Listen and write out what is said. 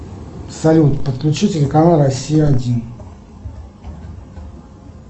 салют подключи телеканал россия один